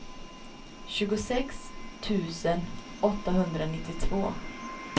sjuttiosex tusen åttahundranittiotvå